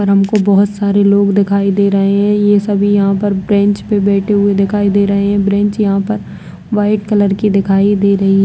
यहाँ पर हमको बोहोत सारे लोग दिखाई दे रहें ये सभी यहाँ पर ब्रेंच पर बैठे हुए दिखाई दे रहे हैं ब्रेंच यहाँ पर वाइट कलर की दिखाई दे रही --